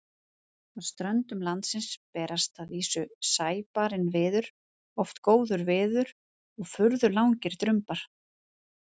Að ströndum landsins berst að vísu sæbarinn viður, oft góður viður og furðu langir drumbar.